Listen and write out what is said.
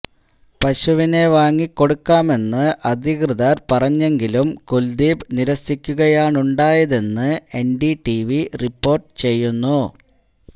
പശുവിനെ വാങ്ങിക്കൊടുക്കാമെന്ന് അധികൃതർ പറഞ്ഞെങ്കിലും കുൽദീപ് നിരസിക്കുകയാണുണ്ടായതെന്ന് എൻഡിടിവി റിപോർട്ട് ചെയ്യുന്നു